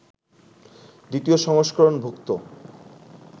দ্বিতীয় সংস্করণ-ভুক্ত